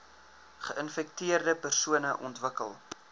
geinfekteerde persone ontwikkel